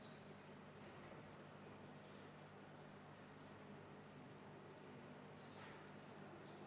Härra esimees!